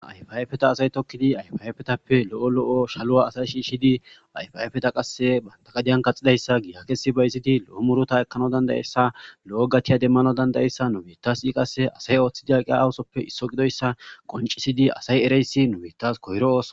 Ayfhayfeta asay tokkidi ayfayfetappe lo7o lo7o shaluwa asay shiishshidi ayfayfeta qasse bantagadiyan kaxidayssa gigakesi bayiziti lo7o murota ekkano dandayessa lo7o gatiya demmano dandayessa numetasi qasse asay ooththidi aqea awusoppe isso gidoyssa qoncisidi asay ereyssi nubittas koyro oosoa.